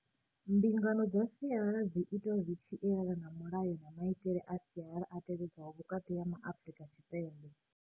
Mbingano dza sialala dzi itwa zwi tshi elana na mulayo na maitele a sialala a tevhedzwaho vhukati ha Maafrika Tshipembe.